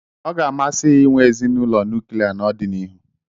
Ọ ga-amasị ya inwe ezinụlọ nuklia n'ọdịnihu.